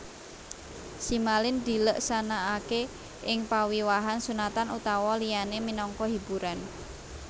Simalin dileksanakaké ing pawiwahan sunatan utawa liyané minangka hiburan